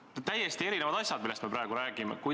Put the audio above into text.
Need on täiesti erinevad asjad, millest me praegu räägime.